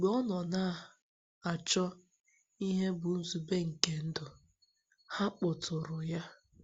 Mgbe ọ nọ na - achọ ihe bụ́ nzube nke ndụ, ha kpọtụụrụ ya.